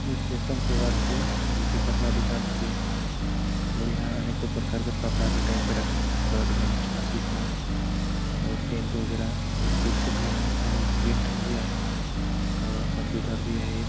ए fashion फेबर् हेके जेके कपड़ा दुकान हेके और इहाँ अनेकों प्रकारो के कपड़ा के टँग रखीस है शर्ट पैंट ग़मछा स्वीटर और पैंट वैगरह एक कुर्सी भी है और एक प्रिन्टर भी है और कंप्युटर भी है एक --